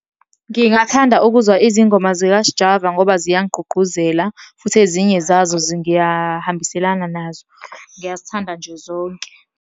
Ngingathanda ukuzwa izingoma zika-Sjava, ngoba ziyangigqugquzela, futhi ezinye zazo ngiyahambiselana nazo. Ngiyazithanda nje zonke.